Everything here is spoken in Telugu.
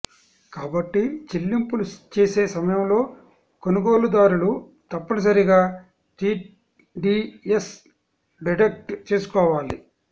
కాబట్టి చెల్లింపులు చేసే సమయంలో కొనుగోలుదారులు తప్పనిసరిగా టీడీఎస్ డిడక్ట్ చేసుకోవాలి